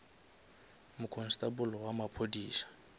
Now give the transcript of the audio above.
mokonstable wa maphodisa